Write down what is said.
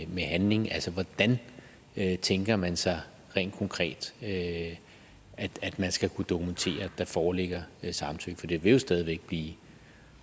med handling altså hvordan tænker man sig rent konkret at man skal kunne dokumentere at der foreligger samtykke for det vil jo stadig væk blive